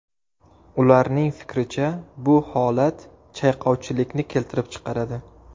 Ularning fikricha, bu holat chayqovchilikni keltirib chiqaradi.